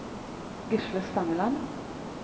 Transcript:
Gisle Stangeland